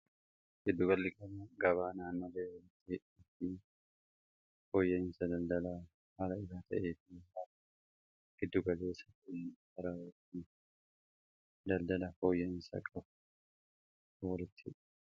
Gidduugalli gabaa faayidaa madaalamuu hin dandeenye fi bakka bu’iinsa hin qabne qaba. Jireenya guyyaa guyyaa keessatti ta’ee, karoora yeroo dheeraa milkeessuu keessatti gahee olaanaa taphata. Faayidaan isaa kallattii tokko qofaan osoo hin taane, karaalee garaa garaatiin ibsamuu danda'a.